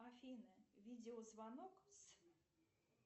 афина видеозвонок с